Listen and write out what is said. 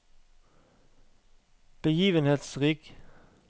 begivenhetsrik